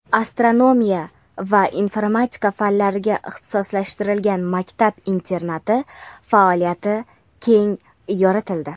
astronomiya va informatika fanlariga ixtisoslashtirilgan maktab-internati faoliyati keng yoritildi.